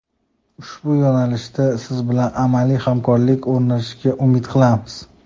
Ushbu yo‘nalishda siz bilan amaliy hamkorlik o‘rnatishga umid qilamiz.